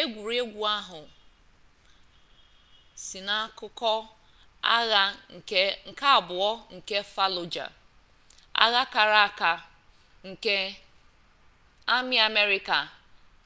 egwuregwu a si n'akụkọ agha nke abụọ nke fallujah agha kara aka ndị amị amerịka